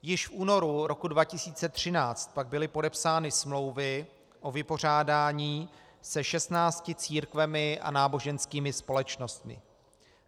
Již v únoru roku 2013 pak byly podepsány smlouvy o vypořádání se 16 církvemi a náboženskými společnostmi.